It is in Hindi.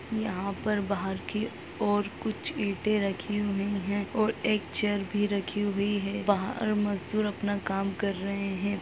यहाँ पर बाहर की ओर कुछ ईटे रखी हुई है और एक चेयर भी रखी हुई है बाहर मजदूर अपना काम कर रहे है।